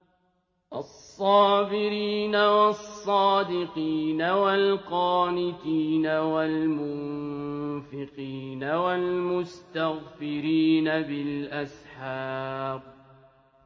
الصَّابِرِينَ وَالصَّادِقِينَ وَالْقَانِتِينَ وَالْمُنفِقِينَ وَالْمُسْتَغْفِرِينَ بِالْأَسْحَارِ